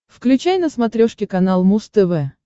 включай на смотрешке канал муз тв